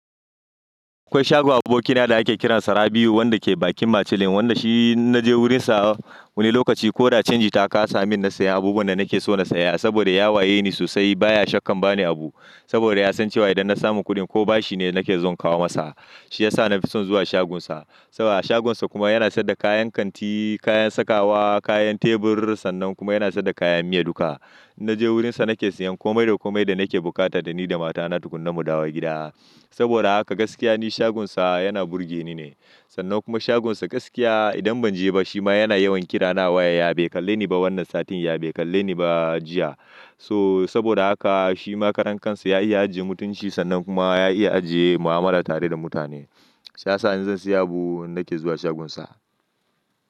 Akwai shagon abokina da ake kiransa Rabiu wanda ke bakin macilin, wanda shi naje wurinsa wani lokaci ko da canji ta kasa min na saya abubuwan da nake so na saya saboda ya waye ni sosai baya shakkan ba ni abu. Saboda ya san cewa idan na samu kuɗi ko bashi ne nake zuwa kawo masa. Shi yasa na fi son zuwa shagonsa. Saboda a shagonsa kuma yana saida kayan kanti, kayan sakawa, kayan tebur sannan kuma yana saida kayan miya duka. Naje wurinsa nake siyan komai da komai da nake bukata da ni da matana tukunna mu dawo gida. Saboda haka gaskiya ne shagonsa yana burge ni ne. Sannan kuma shaginsa gaskiya idan ban je ba shi ma yana yawan kira na waya "ya bai kalle ni ba wannan satin ya bai kalle ni ba jiya". So saboda haka shi ma karan kansa ya iya ajiye mutunci sannan kuma ya iya ajiye mu'amala tare da mutane. Shi yasa in zan siya abu nake zuwa shaginsa.